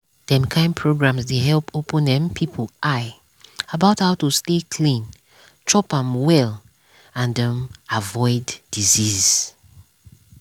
dem kind programs dey help open um people eye about how to stay clean chop um well and um avoid disease.